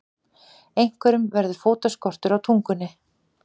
Einhverjum verður fótaskortur á tungunni